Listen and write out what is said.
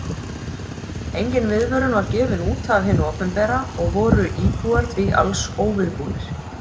Engin viðvörun var gefin út af hinu opinbera og voru íbúar því alls óviðbúnir.